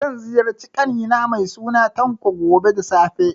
Zan ziyarci ƙani na mai suna Tanko, gobe da safe.